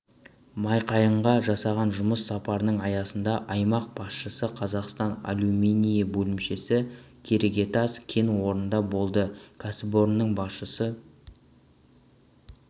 майқайыңға жасаған жұмыс сапарының аясында аймақ басшысы қазақстан алюминийі бөлімшесі керегетас кен орнында болды кәсіпорынның басшысы